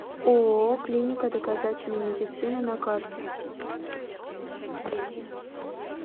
ооо клиника доказательной медицины на карте